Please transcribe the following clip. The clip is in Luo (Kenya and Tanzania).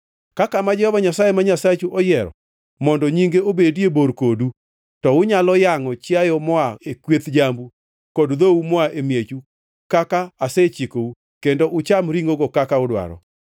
Ka kama Jehova Nyasaye ma Nyasachu oyiero mondo nyinge obedie bor kodu, to unyalo yangʼo chiayo moa e kweth jambu kod dhou moa e miechu kaka asechikou kendo ucham ringʼo kaka udwaro.